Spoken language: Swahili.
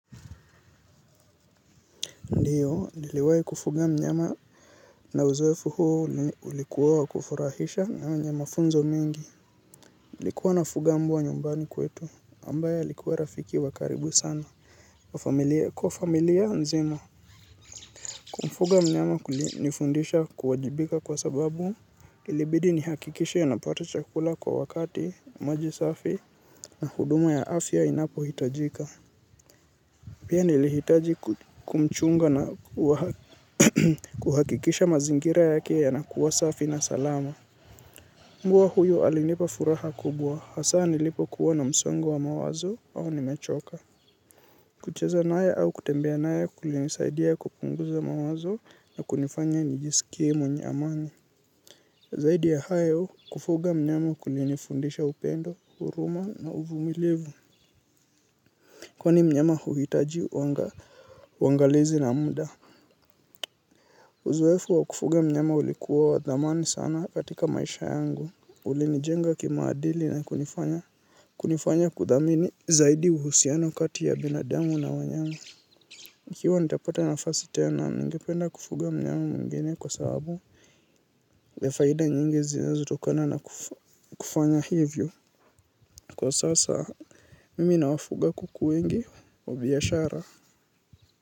Ndiyo, niliwai kufuga mnyama na uzoefu huu ni ulikuwa wa kufurahisha na yenye mafunzo mingi. Nilikuwa nafuga mbwa nyumbani kwetu ambaye alikuwa rafiki wa karibu sana. Kwa familia nzima, kumfuga mnyama kulinifundisha kuwajibika kwa sababu ilibidi nihakikisha anapata chakula kwa wakati maji safi na huduma ya afya inapohitajika. Pia nilihitaji kumchunga na kuhakikisha mazingira yake yanakuwa safi na salama. Mbwa huyo alinipa furaha kubwa, hasa nilipokuwa na msongo wa mawazo au nimechoka. Kucheza naye au kutembea naye kulinisaidia kupunguza mawazo na kunifanya nijisikie mwenye amani. Zaidi ya hayo, kufuga mnyama kulinifundisha upendo, huruma na uvumilivu. Kwani mnyama huhitaji uangalizi na muda. Uzuefu wa kufuga mnyama ulikuwa wa thamani sana katika maisha yangu. Ulinijenga kimaadili na kunifanya kudhamini zaidi uhusiano kati ya binadamu na wanyama. Nikiwa nitapata nafasi tena, ningependa kufuga mnyama mwingine kwa sababu ya faida nyingi zinazotokana na kufanya hivyo. Kwa sasa, mimi nawafuga kuku wengi wa biashara.